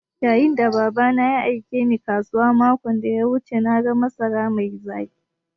Yayin da Baba na ya aike Ni kasuwa makon da ya wuce na ga masarar mai zaƙi.